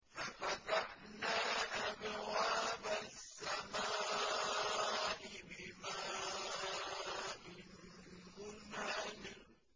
فَفَتَحْنَا أَبْوَابَ السَّمَاءِ بِمَاءٍ مُّنْهَمِرٍ